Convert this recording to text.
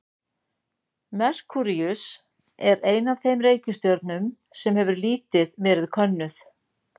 Merkúríus er ein af þeim reikistjörnum sem hefur lítið verið könnuð.